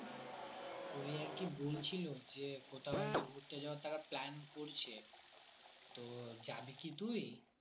ওই আরকি বলছিলো যে কোথাও আরকি ঘুরতে যাওয়ার তারা plan করছে তো যাবি কি তুই